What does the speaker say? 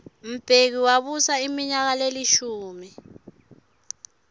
mbeki wabusa iminyaka lelishumi